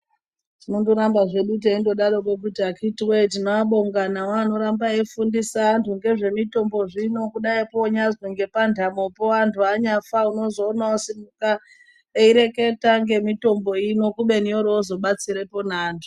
Tinondo ramba zvedu teindo darokwo kuti akiti wee tino abonga aya ano ramba eyi fundisa antu ngezve mitombo zvino kudai ko nyazi ngepa ndamopo antu anyafa unozoona osimuka eyi reketa nge mitombo ino kubeni yori yozo batsirepo ne antu.